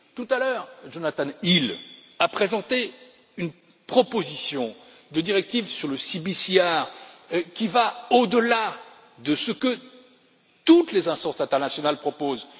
Tout à l'heure, Jonathan Hill a présenté une proposition de directive sur le CbCR qui va au delà de ce que toutes les instances internationales proposent.